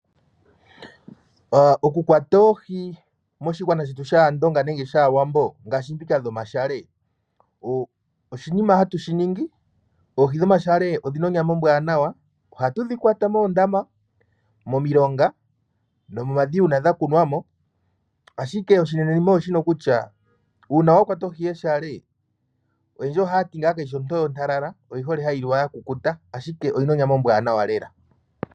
Okukwata oohi moshigwana shetu shAandonga nenge shAawambo ngaashi dhika dhomashale, oshinima hatu shi ningi. Oohi dhomashale odhi na onyama ombwaanawa. Ohatu dhi kwata moodama, momilonga nomomadhiya uuna dha kunwa mo, ashike oshinenenima oshino kutya uuna wa kwata ohi yeshale yendji ohaya ti kayi shi ontowe ontalala oyi hole hayi liwa ya kukuta, ashike oyi na onyama ombwaanawa lela.